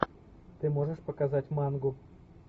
ты можешь показать мангу